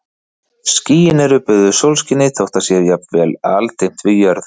Skýin eru böðuð sólskini þótt það sé jafnvel aldimmt við jörð.